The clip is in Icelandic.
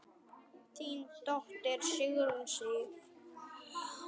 Þín dóttir, Sigrún Sif.